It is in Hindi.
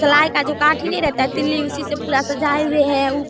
सलाई का जो काठी नही रहता है तिल्ली उसी से पूरा सजाये हुए है ऊप --